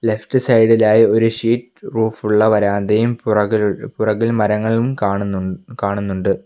Left സൈഡിലായി ഒരു sheet റൂഫുള്ള വരാന്തയും പുറകിൽ പുറകിൽ മരങ്ങളും കാണുന്നു കാണുന്നുണ്ട്.